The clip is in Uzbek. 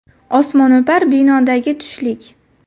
Osmono‘par binodagi tushlik.